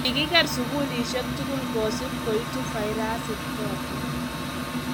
kikiker sukulisiek tugul kosub koitu virusik choto